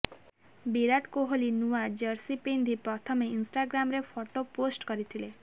ବିରାଟ କୋହଲି ନୂଆ ଜର୍ସି ପିନ୍ଧି ପ୍ରଥମେ ଇନ୍ଷ୍ଟାଗ୍ରାମରେ ଫଟୋ ପୋଷ୍ଟ କରିଥିଲେ